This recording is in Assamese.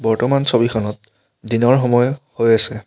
বৰ্তমান ছবিখনত দিনৰ সময় হৈ আছে।